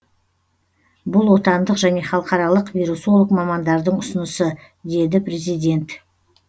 бұл отандық және халықаралық вирусолог мамандардың ұсынысы деді президент